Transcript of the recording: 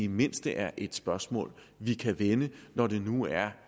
mindste er et spørgsmål vi kan vende når det nu er